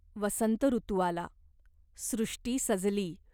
वसंत ऋतू आला. सृष्टी सजली.